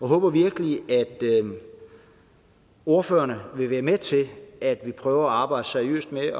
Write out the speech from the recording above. håber virkelig at ordførerne vil være med til at vi prøver at arbejde seriøst med